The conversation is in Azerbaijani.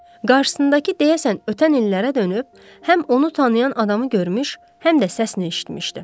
Qarşısındakı deyəsən ötən illərə dönüb, həm onu tanıyan adamı görmüş, həm də səsini eşitmişdi.